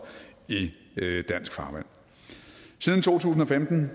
i dansk farvand siden to tusind og femten